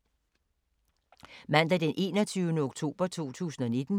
Mandag d. 21. oktober 2019